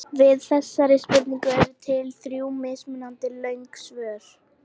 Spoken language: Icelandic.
Við þessari spurningu eru til þrjú mismunandi löng svör.